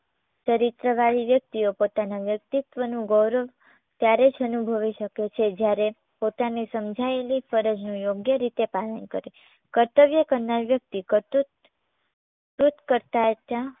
ચરિત્રવાળી વ્યક્તિઓ પોતાના વ્યક્તિત્વનું ગૌરવ ત્યારે જ અનુભવી શકે છે જ્યારે પોતાની સમજાયેલી ફરજનું યોગ્ય રીતે પાલન કરે. કર્તવ્ય કરનાર વ્યક્તિ કરતૂત તૂત કરતા ત્યાં